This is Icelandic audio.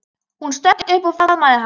Hún stökk upp og faðmaði hann.